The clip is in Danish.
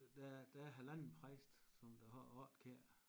Der der er halvanden præst som der holder kirke